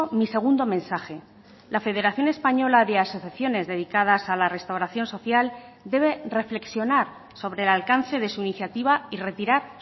mi segundo mensaje la federación española de asociaciones dedicadas a la restauración social debe reflexionar sobre el alcance de su iniciativa y retirar